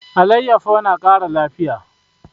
Alayyafo na kara lafiya